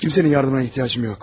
Kimsenin yardımına ehtiyacım yox.